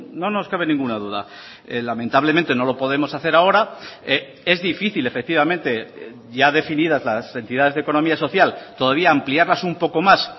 no nos cabe ninguna duda lamentablemente no lo podemos hacer ahora es difícil efectivamente ya definidas las entidades de economía social todavía ampliarlas un poco más